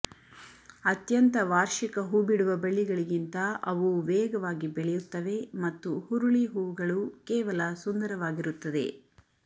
ಅತ್ಯಂತ ವಾರ್ಷಿಕ ಹೂಬಿಡುವ ಬಳ್ಳಿಗಳಿಗಿಂತ ಅವು ವೇಗವಾಗಿ ಬೆಳೆಯುತ್ತವೆ ಮತ್ತು ಹುರುಳಿ ಹೂವುಗಳು ಕೇವಲ ಸುಂದರವಾಗಿರುತ್ತದೆ